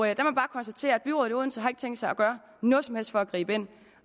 jeg bare konstatere at byrådet i odense ikke har tænkt sig at gøre noget som helst for at gribe ind